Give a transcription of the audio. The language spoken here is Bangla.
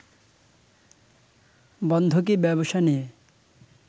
বন্ধকি ব্যবসা নিয়ে